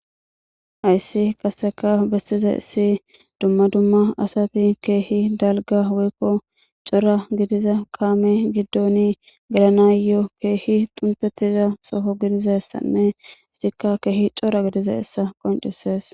Hayssi qaseka bestiza issi dumma dumma asati keehi dalga woykko cora gidiza kaame giddoni galanayo keehi xuntettiza soho gidizassanne itikka keehi cora gidiza issa qoncisees.